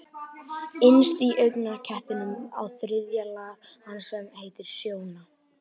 Innst í augnknettinum er þriðja lag hans sem heitir sjóna.